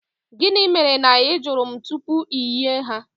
Gịnị mere na ị jụrụ m tupu iyi ha?